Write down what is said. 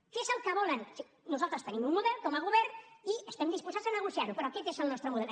què és el que volen nosaltres tenim un model com a govern i estem disposats a negociar ho però aquest és el nostre model